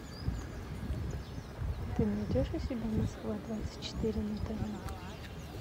ты найдешь у себя москва двадцать четыре на тв